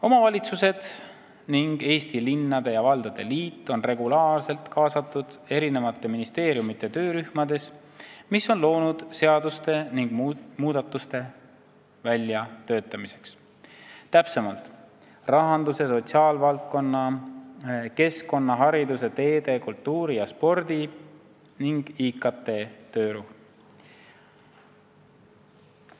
Omavalitsused ning Eesti Linnade ja Valdade Liit on regulaarselt kaasatud ministeeriumide töörühmadesse, mis on loodud seaduste ja muudatuste väljatöötamiseks, täpsemalt rahandus- ja sotsiaalvaldkonna, keskkonna, hariduse, teede, kultuuri ja spordi ning IKT töörühma.